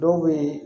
Dɔw bɛ yen